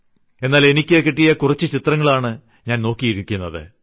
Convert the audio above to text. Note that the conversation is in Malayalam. എന്നാൽ എനിക്കു കിട്ടിയ കുറച്ചു ചിത്രങ്ങളാണ് ഞാൻ നോക്കിയിരിക്കുന്നത്